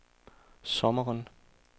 sommeren